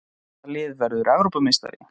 Hvaða lið verður Evrópumeistari?